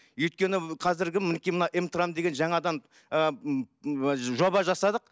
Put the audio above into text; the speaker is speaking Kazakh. өйткені қазіргі мінекей мына эмтрам деген жаңадан ыыы жоба жасадық